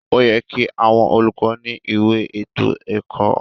Óyẹ ki àwọn olùkọ ni ìwé ètò ẹkọ.